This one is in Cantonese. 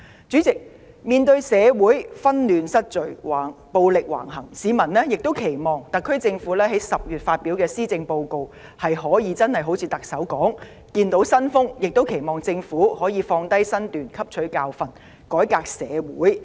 主席，面對社會紛亂失序，暴力橫行，市民期望特區政府在10月發表的施政報告可一如特首所言般樹立新風，亦期望政府可以放下身段汲取教訓，改革社會。